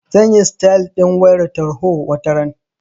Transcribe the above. Zan yi sitayal ɗin wayar tarho wataran.